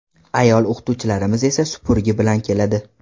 Ayol o‘qituvchilarimiz esa supurgi bilan keladi.